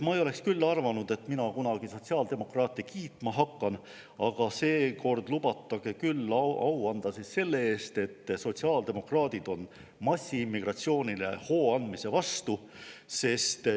Ma ei oleks arvanud, et mina kunagi sotsiaaldemokraate kiitma hakkan, aga seekord lubage küll au anda selle eest, et sotsiaaldemokraadid on massiimmigratsioonile hooandmise vastu.